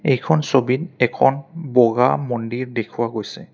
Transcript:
এইখন ছবিত এখন বগা মন্দিৰ দেখুওৱা গৈছে।